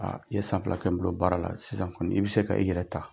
i ye san fila kɛ bolo baara la sisan kɔni i bɛ se ka i yɛrɛ ta.